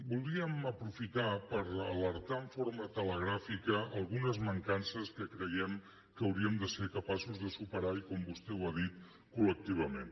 voldríem aprofitar per alertar de forma telegràfica d’algunes mancances que creiem que hauríem de ser capaços de superar i com vostè ha dit col·lectivament